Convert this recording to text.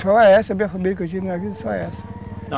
Só essa, a minha família que eu tive na vida, só essa.